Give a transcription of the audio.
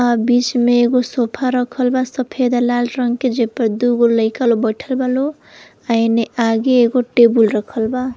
आ बीच में एगो सोफा रखल बा सफ़ेद लाल रंग के जे पर दुगो लइका लो बइठल बा लो। आ एने आगे एगो टेबुल रखल बा।